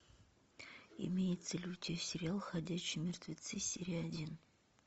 имеется ли у тебя сериал ходячие мертвецы серия один